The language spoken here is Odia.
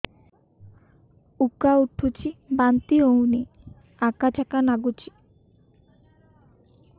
ଉକା ଉଠୁଚି ବାନ୍ତି ହଉନି ଆକାଚାକା ନାଗୁଚି